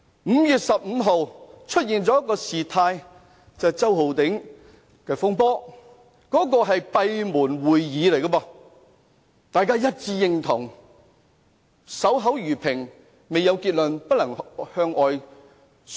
5月15日發生了周浩鼎議員的風波，那次是閉門會議，大家一致贊同要守口如瓶，未有結論不能向外宣揚。